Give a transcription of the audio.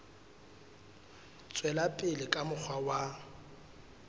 tswela pele ka mokgwa wa